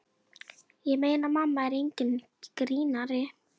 Ég meina, mamma er enginn grínari.